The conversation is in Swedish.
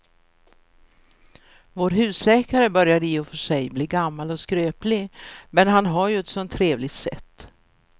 Vår husläkare börjar i och för sig bli gammal och skröplig, men han har ju ett sådant trevligt sätt!